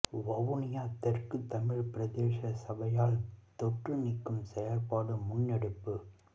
வவுனியா தெற்கு தமிழ் பிரதேச சபையால் தொற்று நீக்கும் செயற்பாடு முன்னெடுப்பு